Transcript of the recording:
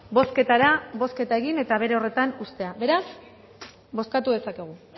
bozketara bozketa egin eta bere horretan uztea beraz bozkatu dezakegu